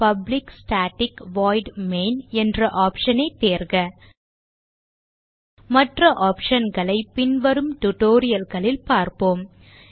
public static void main என்ற option ஐ தேர்க மற்ற optionகளை பின்வரும் tutorial களில் பார்ப்போம்